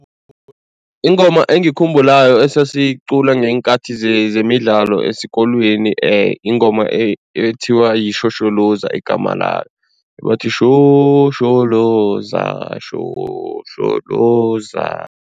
Ingoma engiyikhumbulako esasiyicula ngeenkathi zemidlalo esikolweni yingoma ekuthiwa yishosholoza, igama layo, ebathi, shosholoza shosholoza.